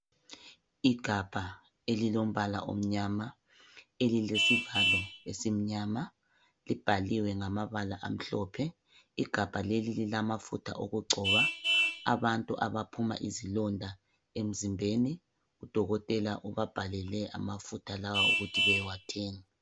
Igabha elilombala omnyama elilesivalo esimnyama. Libhaliwe ngamabala amhlophe. Igabha leli lilamafutha okugcoba abantu abaphuma izilonda emzimbeni ubdokotela ubabhalele amafutha lawa ukuthi beyewathenga.